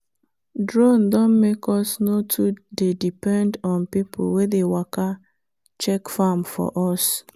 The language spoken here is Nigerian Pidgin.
drone don make us no too dey depend on people wey dey waka check farm for us.